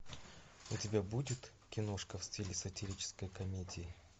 у тебя будет киношка в стиле сатирической комедии